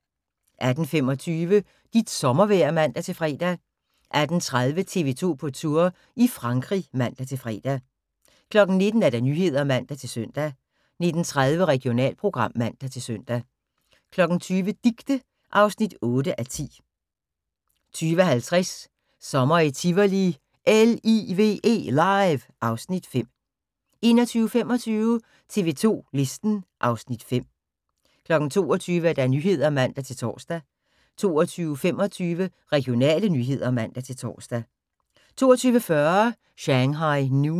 18:25: Dit sommervejr (man-fre) 18:30: TV 2 på Tour – i Frankrig (man-fre) 19:00: Nyhederne (man-søn) 19:30: Regionalprogram (man-søn) 20:00: Dicte (8:10) 20:50: Sommer i Tivoli – LIVE (Afs. 5) 21:25: TV 2 Listen (Afs. 5) 22:00: Nyhederne (man-tor) 22:25: Regionale nyheder (man-tor) 22:40: Shanghai Noon